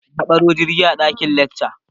Nayi awanni a ɗaƙin lekca